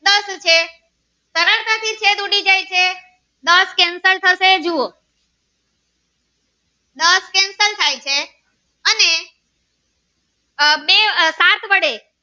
જુઓ દસ cansel થાય છે અને આહ એ આ સાત વડે